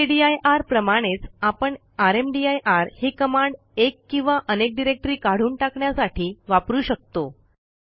mkdir प्रमाणेच आपणrmdir ही कमांड एक किंवा अनेक डिरेक्टरी काढून टाकण्यासाठी वापरू शकतो